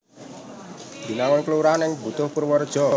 Binangun kelurahan ing Butuh Purwareja